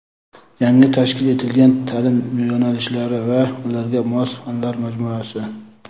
Yangi tashkil etilgan ta’lim yo‘nalishlari va ularga mos fanlar majmuasi.